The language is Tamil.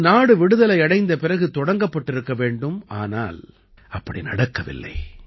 இது நாடு விடுதலை அடைந்த பிறகு தொடங்கப்பட்டிருக்க வேண்டும் ஆனால் அப்படி நடக்கவில்லை